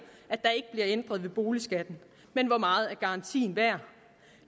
at ændret ved boligskatten men hvor meget er garantien værd